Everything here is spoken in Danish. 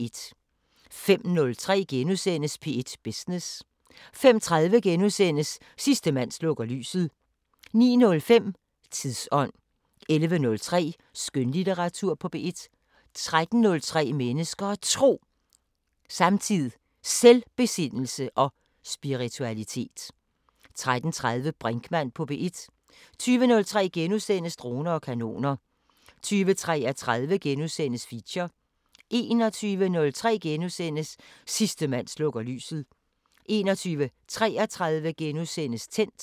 05:03: P1 Business * 05:30: Sidste mand slukker lyset * 09:05: Tidsånd 11:03: Skønlitteratur på P1 13:03: Mennesker og Tro: Samtid, Selvbesindelse og spiritualitet 13:30: Brinkmann på P1 20:03: Droner og kanoner * 20:33: Feature * 21:03: Sidste mand slukker lyset * 21:33: Tændt *